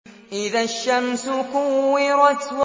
إِذَا الشَّمْسُ كُوِّرَتْ